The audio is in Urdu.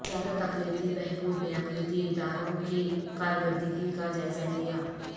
وزارت اقلیتی بہبود نے اقلیتی اداروں کی کارکردگی کا جائزہ لیا